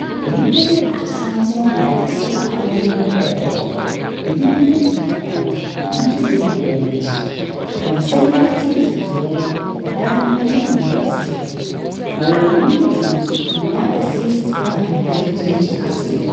Nnipa bi ato santene nam serɛ awoɔ mu rekɔ. Ɛbi nneɛma kitakita wɔn, na ɛbi nso deɛ bobɔ wɔn akyi. Wɔn nsa nifa ntentensoɔ no, ɛdan ne nnua sisi hɔ, na wɔ wɔn anim tenn nso, nnua akɛseɛ sisi hɔ a nnipa bi gyinagyina aseɛ.